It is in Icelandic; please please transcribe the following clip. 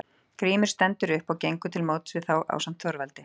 Grímur stendur upp og gengur til móts við þá ásamt Þorvaldi.